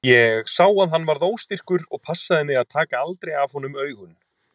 Ég sá að hann varð óstyrkur og passaði mig að taka aldrei af honum augun.